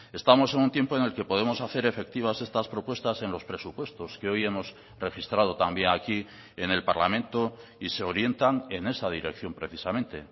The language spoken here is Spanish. estamos en un tiempo en el que podemos hacer efectivas estas propuestas en los presupuestos que hoy hemos registrado también aquí en el parlamento y se orientan en esa dirección precisamente